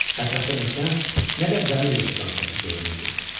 Ətrafda nə kənd, nə də dəmir yol stansiyası görünürdü.